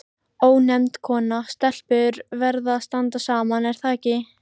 Bara spurning hvor þeirra leikur liminn.